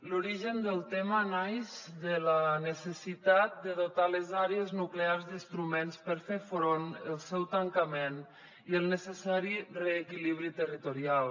l’origen del tema naix de la necessitat de dotar les àrees nuclears d’instruments per fer front al seu tancament i al necessari reequilibri territorial